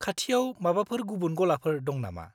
खाथियाव माबाफोर गुबुन गलाफोर दं नामा?